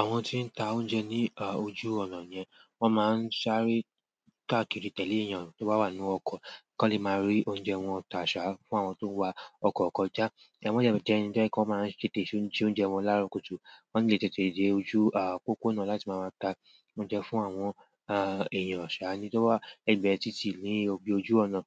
Àwọn ti n ta oúnjẹ ni ojú ọ̀nà yen won ma n sáré káàkiri tele eeyan to wa ba nínú oko, ko le maa ri oúnjẹ won ta fún àwọn to n wa oko kọjá. Ẹ̀ wọ̀n jẹ́ ẹ́ni to je wọ́n máa n tètè se oúnjẹ wọn lára kùtù. Wọ́n lẹ́ tètè dé ojú pópó náà láti máa lọ ta oúnjẹ fún àwọn èèyàn ṣà ni tó wà l'ẹgbẹ́ títì ní ibi ojú ọ̀nà.